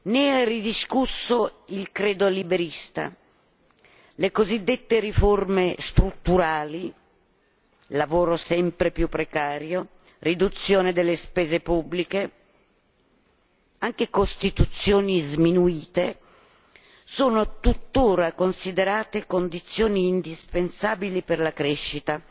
né è ridiscusso il credo liberista, le cosiddette riforme strutturali lavoro sempre più precario, riduzione delle spese pubbliche, anche costituzioni sminuite sono tuttora considerate condizioni indispensabili per la crescita.